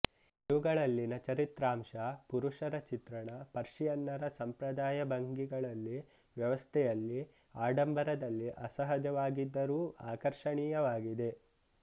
ಇವುಗಳಲ್ಲಿನ ಚರಿತ್ರಾಂಶ ಪುರುಷರ ಚಿತ್ರಣ ಪರ್ಷಿಯನ್ನರ ಸಂಪ್ರದಾಯ ಭಂಗಿಗಳಲ್ಲಿ ವ್ಯವಸ್ಥೆಯಲ್ಲಿ ಆಡಂಬರದಲ್ಲಿ ಅಸಹಜವಾಗಿದ್ದರೂ ಆಕರ್ಷಣೀಯವಾಗಿವೆ